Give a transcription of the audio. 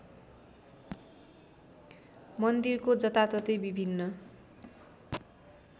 मन्दिरको जताततै विभिन्न